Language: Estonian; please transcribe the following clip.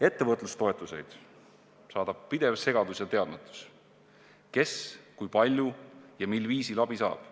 Ettevõtlustoetusi saadab pidev segadus ja teadmatus, kes, kui palju ja mil viisil abi saab.